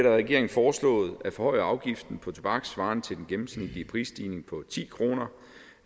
af regeringen foreslået at forhøje afgiften på tobak svarende til en gennemsnitlig prisstigning på ti kroner